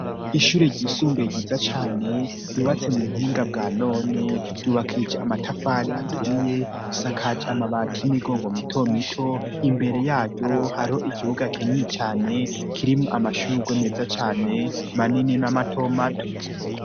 Ishure ry'isumbe giza cane yubatse mu buhinga bwa none ryubakije amatafari aturiye isakaje amabati y'imigongo mito mito imbere yayo hariho ikibuga kinini cane kirimu amashurgo meza cane manini n'amato mato.